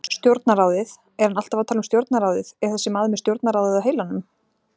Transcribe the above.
Stjórnarráðið, er hann alltaf að tala um stjórnarráðið, er þessi maður með stjórnarráðið á heilanum?